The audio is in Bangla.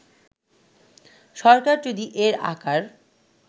সরকার যদি এর আকার